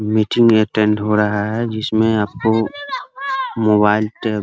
meeting attend हो रहा है जिसमे आपको मोबाइल टे --